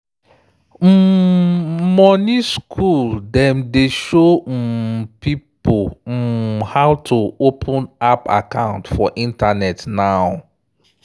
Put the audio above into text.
um money school dem dey show um pipo um how to open app account for internet now.